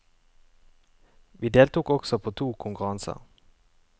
Vi deltok også på to konkurranser.